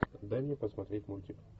дай мне посмотреть мультик